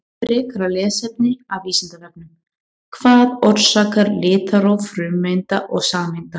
Frekara lesefni af Vísindavefnum: Hvað orsakar litróf frumeinda og sameinda?